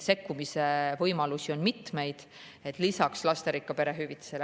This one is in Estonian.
Sekkumise võimalusi on mitmeid lisaks lasterikka pere hüvitisele.